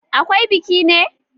Akwai biki ne?